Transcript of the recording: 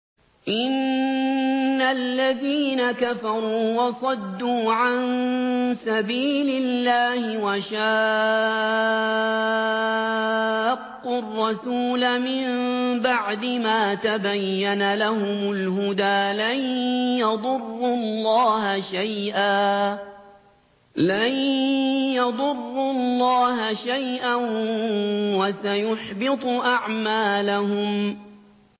إِنَّ الَّذِينَ كَفَرُوا وَصَدُّوا عَن سَبِيلِ اللَّهِ وَشَاقُّوا الرَّسُولَ مِن بَعْدِ مَا تَبَيَّنَ لَهُمُ الْهُدَىٰ لَن يَضُرُّوا اللَّهَ شَيْئًا وَسَيُحْبِطُ أَعْمَالَهُمْ